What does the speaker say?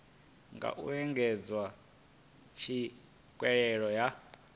nga u engedza tswikelelo ya